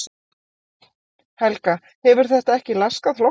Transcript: Helga: Hefur þetta ekki laskað flokkinn?